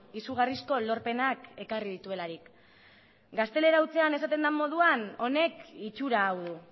izugarrizko lorpenak ekarri dituelarik gaztelera hutsean esaten den moduan honek itxura hau du